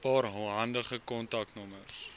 paar handige kontaknommers